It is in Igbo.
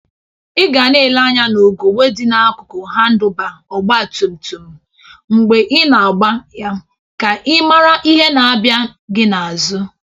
Ị gana ele anya n'ugebe dị n'akụkụ hadụlba ọgbatumtum mgbe i na-agba ya ka ị mara ihe na-abia gị n'azụ